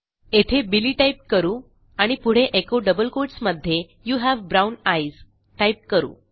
येथे Billy type करू आणि पुढे एचो डबल कोटस मध्ये you have brown eyes type करू